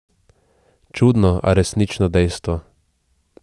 Čudno, a resnično dejstvo.